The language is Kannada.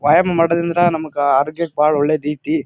ವ್ಯಾಯಾಮ ಮಾಡೋದ್ರಿಂದ ನಮ್ಗ್ ಆರೋಗ್ಯಕ್ ಬಹಳ ಒಳ್ಳೇದ್ ಐತಿ.